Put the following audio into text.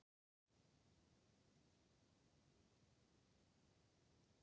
Koðrán, hvernig er dagskráin í dag?